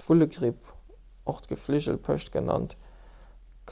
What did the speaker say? d'vullegripp och gefligelpescht genannt